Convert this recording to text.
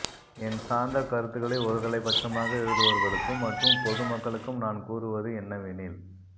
என் சார்ந்த கருத்துக்களை ஒரு தலைப்பட்சமாக எழுதுவோர்களுக்கும் மற்றும் பொதுமக்களுக்கும் நான் கூறுவது என்னவெனில்